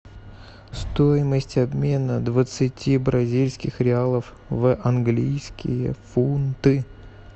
стоимость обмена двадцати бразильских реалов в английские фунты